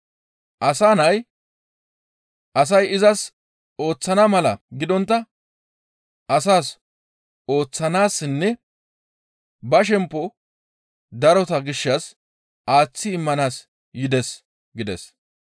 Asa Nay asay izas ooththana mala gidontta izi asas ooththanaassinne ba shempo darota gishshas aaththi immanaas yides» gides.